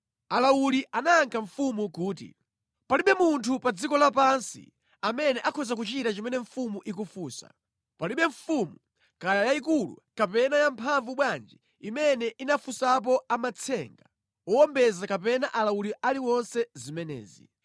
Alawuli anayankha mfumu kuti, “Palibe munthu pa dziko lapansi amene akhoza kuchita chimene mfumu ikufunsa! Palibe mfumu, kaya yayikulu kapena yamphamvu bwanji imene inafunsapo amatsenga, owombeza kapena alawuli aliwonse zimenezi.